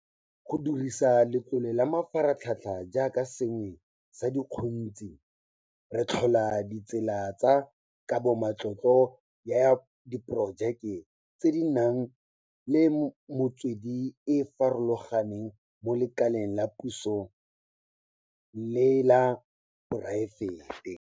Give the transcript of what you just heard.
Go dirisa Letlole la Mafaratlhatlha jaaka sengwe sa dikgontshi, re tlhola ditsela tsa kabomatlotlo ya diporojeke tse di nang le metswedi e e farologaneng mo lekaleng la puso le la poraefete.